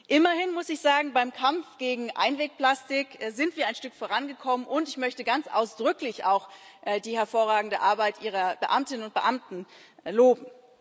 Immerhin muss ich sagen Beim Kampf gegen Einwegplastik sind wir ein Stück vorangekommen und ich möchte ganz ausdrücklich auch die hervorragende Arbeit Ihrer Beamtinnen und Beamten loben.